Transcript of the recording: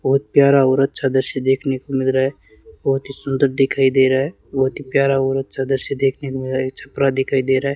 बहुत प्यार और अच्छा दृश्य देखने को मिल रहा है बहुत ही सुंदर दिखाई दे रहा है बहुत ही प्यार और अच्छा दृश्य देखने को मिल रहा है एक छपरा दिखाई दे रहा है।